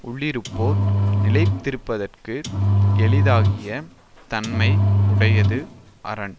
உள்ளிருப்போர் நிலைத்திருப்பதர்க்கு எளிதாகிய தன்மை உடையது அரண்